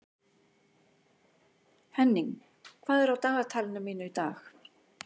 Henning, hvað er á dagatalinu mínu í dag?